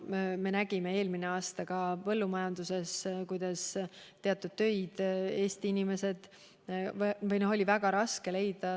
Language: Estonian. Me nägime eelmisel aastal ka põllumajanduses, kuidas teatud töökohtadele oli Eestist tööjõudu väga raske leida.